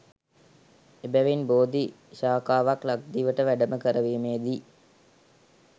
එබැවින් බෝධි ශාඛාවක් ලක්දිවට වැඩම කරවීමේ දී